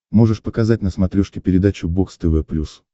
можешь показать на смотрешке передачу бокс тв плюс